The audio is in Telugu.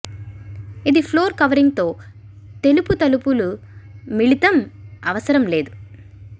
ఇది ఫ్లోర్ కవరింగ్ తో తెలుపు తలుపులు మిళితం అవసరం లేదు